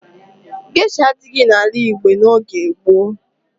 Gesha adighị n'ala Igbo n'oge gboo.